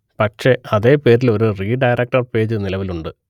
പക്ഷെ അതേ പേരിൽ ഒരു റീഡയറക്ട് പേജ് നിലവിൽ ഉണ്ട്